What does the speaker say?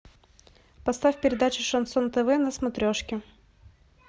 поставь передачу шансон тв на смотрешке